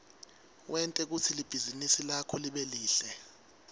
wente kutsi libhizinisi lakho libe lihle